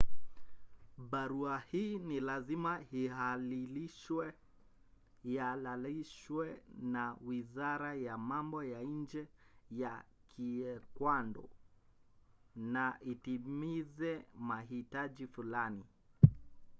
barua hii ni lazima ihalalishwe na wizara ya mambo ya nje ya kiekwado na itimize mahitaji fulani